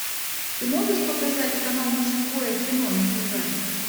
ты можешь показать канал мужское кино на тв